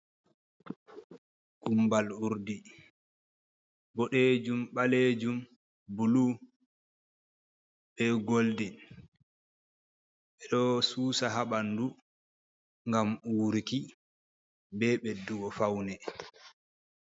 Gumbal urɗi boɗeejum. Balejum, bulu be goldin. Be ɗo susa ha bandu ngam uuruki be beɗɗugo faune.